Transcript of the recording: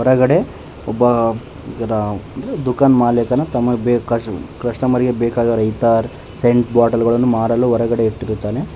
ಕೆಳಗಡೆ ಒಬ್ಬ ಇದರ ದುಖಾನ ಮಾಲೀಕನು ತಮಗೆ ಬೇಕಾ ಕಸ್ಟಮರ್ ಗೆ ಬೇಕಾದ ರೈತಾರ್ ಸೇಂಟ್ ಬಾಟಲ್ ಗಳನ್ನು ಮಾರಲು ಹೊರಗೆ ಇಟ್ಟಿರುತ್ತಾನೆ.